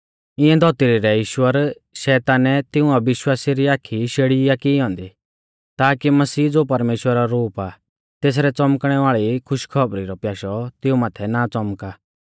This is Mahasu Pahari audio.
इऐं धौतरी रै ईश्वर शैतानै तिऊं अविश्वासिऊ री आखी शेड़ी आ की ई ऐन्दी ताकी मसीह ज़ो परमेश्‍वरा रौ रूप आ तेसरै च़ौमकणै वाल़ी खुशखौबरी रौ प्याशौ तिऊं माथै ना च़ौमका